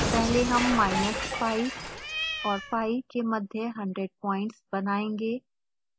पहले हम minus pi और pi के मध्य 100 प्वाइंट्स बनायेंगे